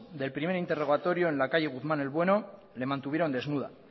del primer interrogatorio en la calle guzmán el bueno le mantuvieron desnuda